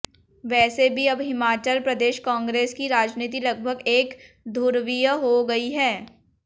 वैसे भी अब हिमाचल प्रदेश कांग्रेस की राजनीति लगभग एक धु्रवीय हो गयी है